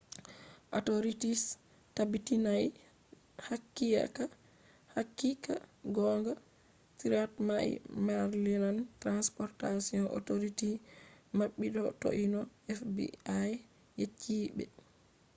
authorities tabbitinai haqiqa gonga threat mai maryland transportation authority maɓɓi ko toi no fbi yecci ɓe